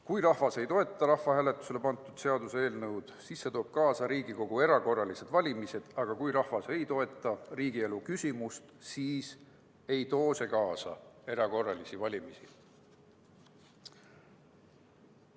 Kui rahvas ei toeta rahvahääletusele pandud seaduseelnõu, siis see toob kaasa Riigikogu erakorralised valimised, aga kui rahvas ei toeta muud riigielu küsimust, siis see ei too kaasa erakorralisi valimisi.